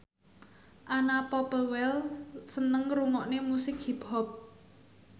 Anna Popplewell seneng ngrungokne musik hip hop